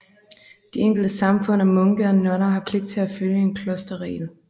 De enkelte samfund af munke og nonner har pligt til at følge en klosterregel